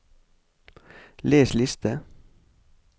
les liste